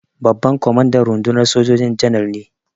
Babban kwamandan rundunar sojoji Janar ne.